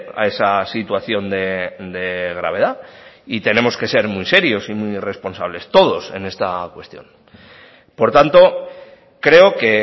a esa situación de gravedad y tenemos que ser muy serios y muy responsables todos en esta cuestión por tanto creo que